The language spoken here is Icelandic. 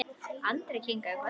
Andri kinkaði kolli.